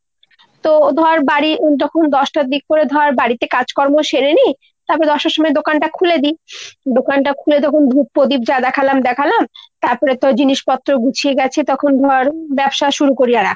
তো ধর বাড়ি যখন দশটার দিক করে বাড়িতে কাজকর্ম সেরে নি, তারপর দশটার সময় দোকানটা খুলে দি। দোকানটা খুলে তখন ধূপ পদীপ যা দেখালাম দেখালাম, তারপরে তো জিনিসপত্র গুছিয়ে গাছিয়ে তখন ধর ব্যবসা শুরু করি। আর